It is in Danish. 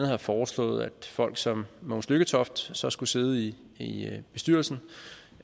har foreslået at folk som mogens lykketoft så skulle sidde i i bestyrelsen